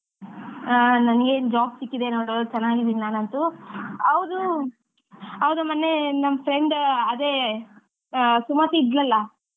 ಹಾ ನಂಗೆ job ಸಿಕ್ಕಿದೆ ನೋಡ್ ಚೆನ್ನಾಗಿದ್ದೀನ್ ನಾನಂತೂ ಹೌದು ಹೌದು ಮೊನ್ನೆ ನಮ್ friend ಅದೇ ಅಹ್ ಸುಮತಿ ಇದ್ಲಲ್ಲಾ,